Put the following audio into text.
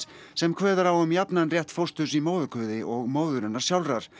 sem kveður á um jafnan rétt fósturs í móðurkviði og móðurinnar sjálfrar